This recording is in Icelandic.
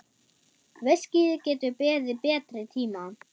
Viskíið getur beðið betri tíma.